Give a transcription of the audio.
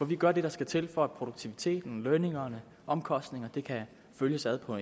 vi gør det der skal til for at produktiviteten lønningerne omkostningerne kan følges ad på